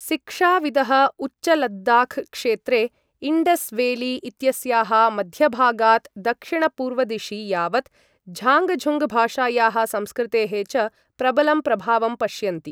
शिक्षाविदः उच्चलद्दाख क्षेत्रे इण्डस् वेली इत्यस्याः मध्यभागात् दक्षिण पूर्वदिशि यावत् झाङ्गझुङ्गभाषायाः संस्कृतेः च प्रबलं प्रभावं पश्यन्ति।